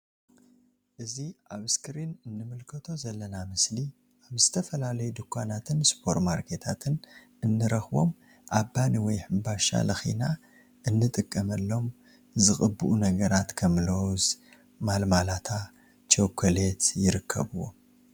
እዚ ኣብ እስክሪን እንምልከቶ ዘለና ምስሊ ኣብ ዝተፈላለዩ ዱካናትን ስፖር ማርኬትን እንረክቦም ኣብ ባኒ ወይ ሕንባሻ ለኪና እንጥቀመሎም ዝቅብኡ ነገራት ከም ሎዝ ማልማላታ ቸኮሌት ይርከብዎም።